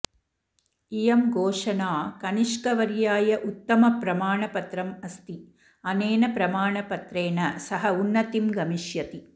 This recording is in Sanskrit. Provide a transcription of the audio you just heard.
इयं घोषणा कनिष्कवर्याय उत्तमप्रमाणपत्रम् अस्ति अनेन प्रमाणपत्रेण सः उन्नतिं गमिष्यति